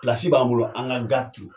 b'an bolo an ka ga turu.